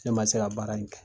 Ne ma se ka baara in kɛ.